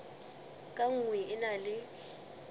ka nngwe e na le